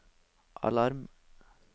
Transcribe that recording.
alarm